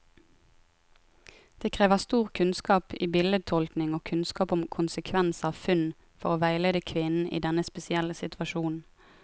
Det krever stor kunnskap i bildetolkning og kunnskap om konsekvens av funn, for å veilede kvinnen i denne spesielle situasjonen.